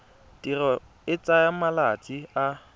tirelo e tsaya malatsi a